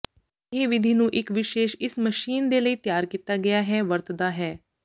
ਇਹ ਵਿਧੀ ਨੂੰ ਇੱਕ ਵਿਸ਼ੇਸ਼ ਇਸ ਮਸ਼ੀਨ ਦੇ ਲਈ ਤਿਆਰ ਕੀਤਾ ਗਿਆ ਹੈ ਵਰਤਦਾ ਹੈ